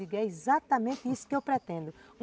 é exatamente isso que eu pretendo.